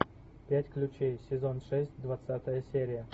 пять ключей сезон шесть двадцатая серия